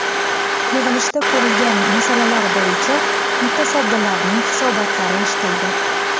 Yig‘ilishda ko‘rilgan masalalar bo‘yicha mutasaddilarning hisobotlari eshitildi.